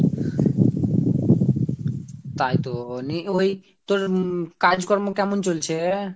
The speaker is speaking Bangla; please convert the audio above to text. তাই তো নির ওই তোর উম কাজ কর্ম কেমন চলচ্ছে এ।